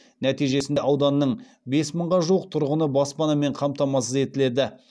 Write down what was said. нәтижесінде ауданның бес мыңға жуық тұрғыны баспанамен қамтамасыз етіледі